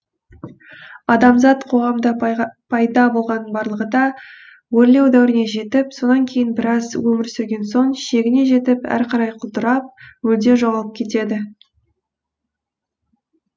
адамзат қоғамында пайда болғанның барлығы да өрлеу дәуіріне жетіп сонан кейін біраз өмір сүрген соң шегіне жетіп әрі қарай құлдырап мүлде жоғалып кетеді